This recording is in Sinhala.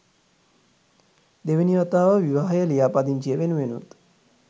දෙවෙනි වතාව විවාහය ලියාපදිංචිය වෙනුවෙනුත්.